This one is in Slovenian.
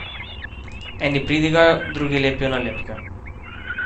Eni pridigajo, drugi lepijo nalepke.